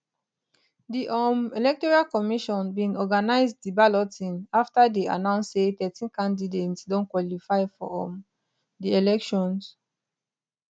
di um electoral commission bin organize di balloting afta dey announce say thirteen candidates don qualify for um di elections